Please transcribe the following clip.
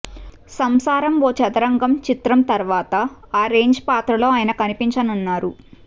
సంసారం ఓ చదరంగం చిత్రం తరువాత ఆ రేంజి పాత్రలో ఆయన కనిపించనున్నారు